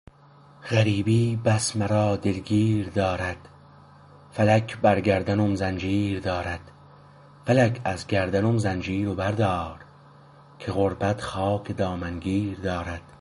غریبی بس مرا دلگیر دارد فلک بر گردنم زنجیر دارد فلک از گردنم زنجیر بردار که غربت خاک دامنگیر دارد